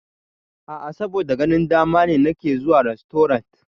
A'a, saboda ganin dama ne nake zuwa rastorant.